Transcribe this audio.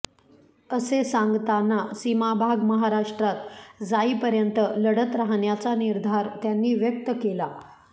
असे सांगताना सीमाभाग महाराष्ट्रात जाईपर्यंत लढत राहण्याचा निर्धार त्यांनी व्यक्त केला